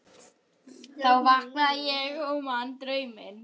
Þá vaknaði ég og man drauminn.